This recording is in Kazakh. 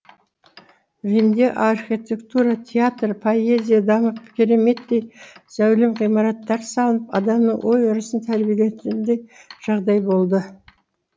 римде архитектура театр поэзия дамып кереметтей зәулім ғимараттар салынып адамның ой өрісін тәрбиелейтіндей жағдай болды